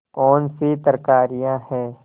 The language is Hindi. कौनसी तरकारियॉँ हैं